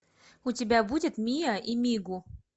у тебя будет миа и мигу